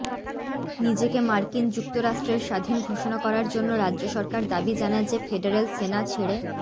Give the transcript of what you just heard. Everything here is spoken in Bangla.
নিজেকে মার্কিন যুক্তরাষ্ট্রের স্বাধীন ঘোষণা করার জন্য রাজ্য সরকার দাবি জানায় যে ফেডারেল সেনা ছেড়ে